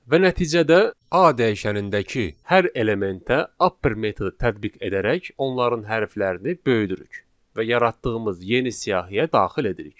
Və nəticədə A dəyişənindəki hər elementə upper metodu tətbiq edərək onların hərflərini böyüdürük və yaratdığımız yeni siyahıya daxil edirik.